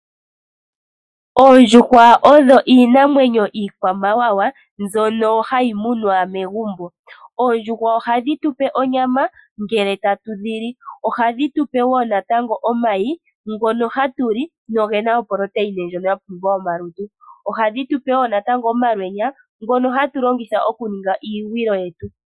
Oondjuhwa odho iinamwenyo iikwamawawa mbyono hayi muna megumbo. Oondjuhwa ohadhi tupe onyama ngele tatu dhi li. Ohadhi tupe wo natango omayi ngono hatu li, go oge na oprotein ndjono ya pumbiwa momalutu, ohadhi tupe omalwenya ngono hatu longitha okuninga iigwilo yetu.